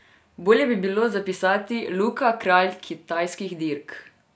Bolje bi bilo zapisati: "Luka, kralj kitajskih dirk".